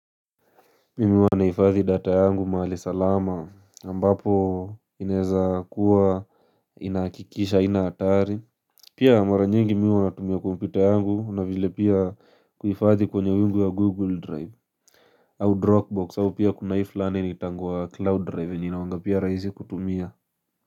Mimi huwa nahifadhi data yangu mahali salama ambapo ineza kuwa inahakikisha haina hatari Pia mara nyingi mimi huwa natumia kompita yangu na vile pia kuifathi kwenye wingu ya google drive au dropbox au pia kuna hii fulani inaitangwa cloud drive yenye inakuwanga pia rahisi kutumia.